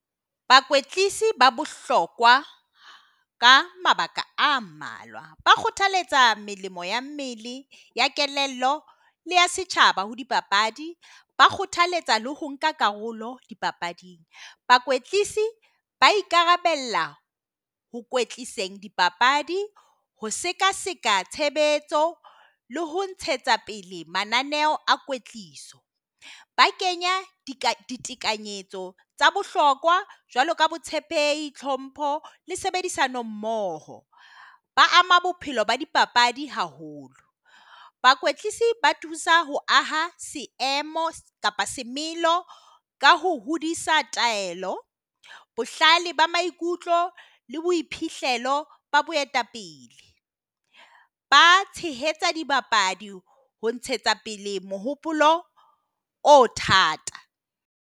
Ba bohlokwa ka mabaka a mmalwa, ba kgothaletsa melemo ea mmele ea kelello ea setjhaba. Ho di papadi ba kgothaletsa le ho nka karolo di papading ba ikarabella ho dipapadi, ho seka seka, tshebetso le ho ntshetsa pele mananeho a ba kenya ditekanyetso tsa bohlokwa jwalo ka botshepehi, tlhompho le sebedisana mmoho. Ba ama bophelo ba di papadi haholo, ba thusa ho aha selemo kapa ka ho hodisa thapelo. Bohlale ba maikutlo le boiphihlelo ba boetapele ba tshehetsa dibapadi ho ntshetsa pele mohopolo o thata.